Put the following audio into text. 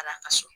Ala ka so